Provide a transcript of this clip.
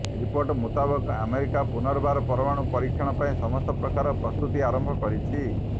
report ମୁତାବକ America ପୁନର୍ବାର ପରମାଣୁ ପରୀକ୍ଷଣ ପାଇଁ ସମସ୍ତ ପ୍ରକାର ପ୍ରସ୍ତୁତି ଆରମ୍ଭ କରିଛି